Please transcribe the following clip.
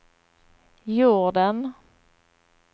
jorden